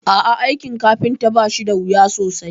A'ah, aikin kafinta bashi dawuya sosai